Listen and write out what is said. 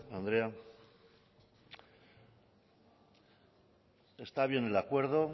andrea está bien el acuerdo